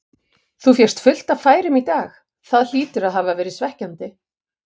Þú fékkst fullt af færum í dag, það hlýtur að hafa verið svekkjandi?